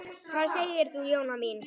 Hvað segir þú, Jóna mín?